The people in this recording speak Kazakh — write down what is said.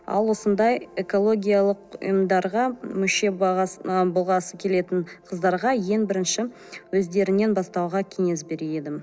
ал осындай экологиялық ұйымдарға мүше болғысы келетін қыздарға ең бірінші өздерінен бастауға кеңес берер едім